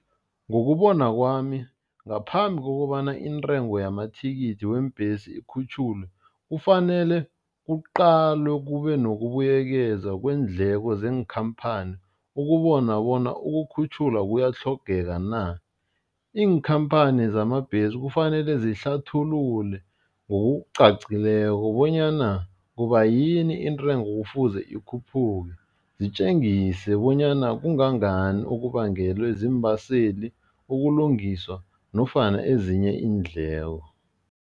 Ngokubona kwami ngaphambi kokobana intengo yamathikithi weembhesi ikhutjhulwe, kufanele kuqalwe kube nokubuyekeza kweendleko zeenkhamphani ukubona bona ukukhutjhulwa kuyatlhogeka na. Iinkhamphani zamabhesi kufanele zihlathulula ngokucacileko bonyana kubayini intengo kufuze ikhuphuke, zitjengise bonyana kangangani okubangelwe ziimbaseli, ukulungiswa nofana ezinye iindleko.